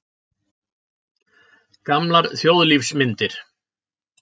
Gamlar þjóðlífsmyndir.